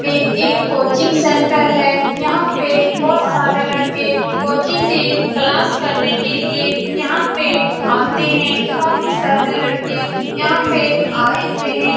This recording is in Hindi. ये एक कोचिंग सेंटर हैं। यहाँ पे बहुत सारे लड़के कोचिंग के क्लास करने के लिए यहाँ पे आते हैं। काफी सारे लड़के यहाँ पे आए हुए हैं।